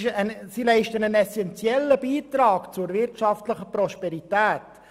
Sie leisten einen essenziellen Beitrag an die wirtschaftliche Prosperität.